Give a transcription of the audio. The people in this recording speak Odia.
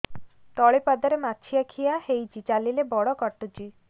ତଳିପାଦରେ ମାଛିଆ ଖିଆ ହେଇଚି ଚାଲିଲେ ବଡ଼ କାଟୁଚି